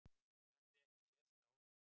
Höfum við ekki sést áður?